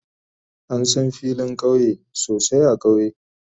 An san filin kauye sosai a kauye.